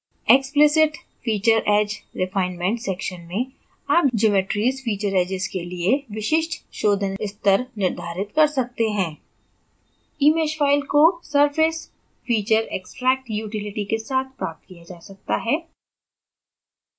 explicit feature edge refinement section में आप geometrys feature edges के लिए विशिष्ट शोधन स्तर निर्धारित कर सकते हैं emesh file को surfacefeatureextract utility के साथ प्राप्त किया जा सकता है